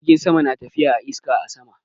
Jirgin sama na tafiya a iska a sama.